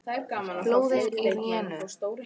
Flóðin í rénun